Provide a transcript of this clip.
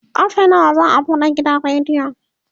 karfe nawa za'a buɗe gidan rediyon?